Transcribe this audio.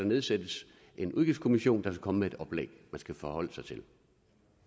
nedsættes en udgiftskommission der kan komme med et oplæg man skal forholde sig til